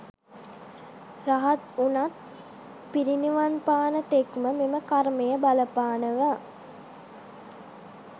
රහත් වුණත් පිරිනිවන්පාන තෙක්ම මෙම කර්මය බලපානවා.